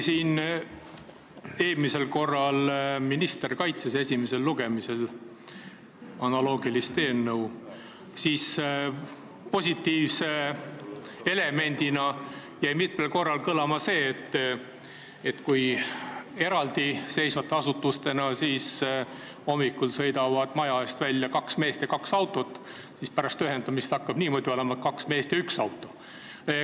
Kui eelmisel korral minister kaitses esimesel lugemisel analoogilist eelnõu, siis positiivse elemendina jäi mitmel korral kõlama, et kui need kaks asutust on eraldiseisvad, siis hommikul sõidab maja ette kaks meest ja kaks autot, aga pärast ühendamist hakkab olema niimoodi, et on kaks meest ja üks auto.